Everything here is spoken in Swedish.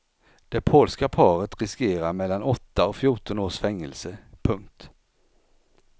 Det polska paret riskerar mellan åtta och fjorton års fängelse. punkt